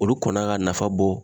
Olu kun kan ka nafa bɔ